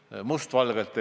Kristina Šmigun-Vähi, palun!